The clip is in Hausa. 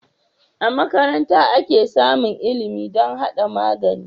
A makaranta ake samun ilimi dam hada magani